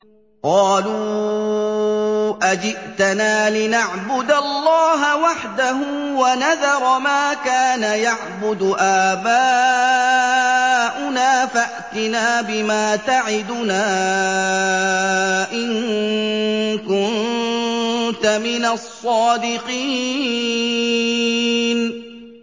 قَالُوا أَجِئْتَنَا لِنَعْبُدَ اللَّهَ وَحْدَهُ وَنَذَرَ مَا كَانَ يَعْبُدُ آبَاؤُنَا ۖ فَأْتِنَا بِمَا تَعِدُنَا إِن كُنتَ مِنَ الصَّادِقِينَ